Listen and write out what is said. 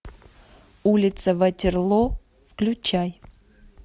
улица ватерлоо включай